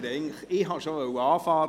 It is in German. Ich wollte eigentlich schon beginnen;